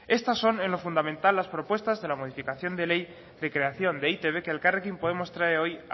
estas son en lo fundamental las propuestas de la modificación de ley de creación de e i te be que elkarrekin podemos trae hoy